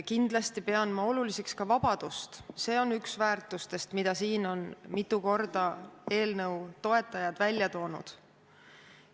Kindlasti pean ma oluliseks ka vabadust, see on üks väärtustest, mida eelnõu toetajad on siin mitu korda välja toonud.